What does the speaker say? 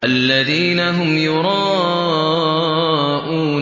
الَّذِينَ هُمْ يُرَاءُونَ